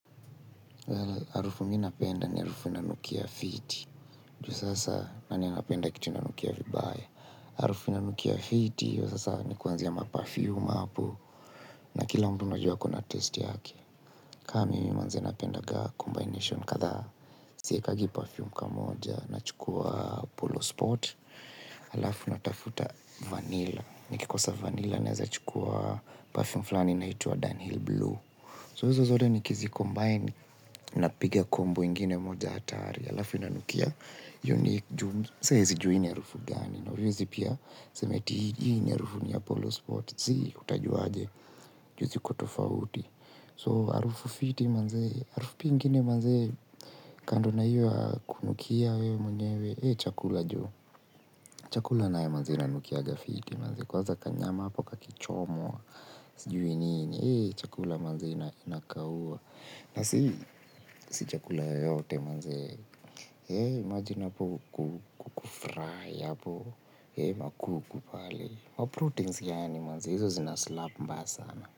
Harufu minapenda ni harufu inanukia fiti, juu sasa nani anapenda kitu inanukia vibaya. Harufu inanukia fiti, iyo sasa ni kuanzia maperfume hapo na kila mtu unajua akona taste yake. Kama mimi mwenzenu napendagaa combination kadhaa siwekagi parfume kamoja na chukua polo sport. Halafu natafuta vanilla. Nikikosa vanilla na weza chukua parfume fulani inaitwa downhill blue. So izo zote nikizi combine na piga kombo ingine moja hatari. Halafu inanukia. Unique juu. Saezijuwa hii ni harufu gani. Na hawezii pia sema eti hii harufu ni Apollo Sport. See utajua aje. Juu zikotofauti. So harufu fiti manzee. Harufu ingine manzee. Kando na iyo ya kunukia wewe mwenyewe. Iyo chakula juu. Chakula nayo manzee inanukiaga fiti manzee. Kwaza kanyama hapo kakichomwa. Sijui nini. Eeh chakula manzee inakaua. Nasi si chakula yoyote manzee heee imagine hapo kuku fry hapo heee makuku pale maprotein yaani manzee. Hizo zinaslap mbaya sana.